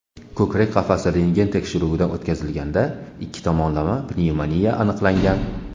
Ko‘krak qafasi rentgen tekshiruvidan o‘tkazilganda ikki tomonlama pnevmoniya aniqlangan.